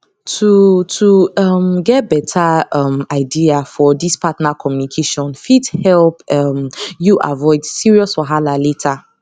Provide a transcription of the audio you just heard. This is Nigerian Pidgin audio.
to to um get better um idea for this partner communication fit help um you avoid serious wahala later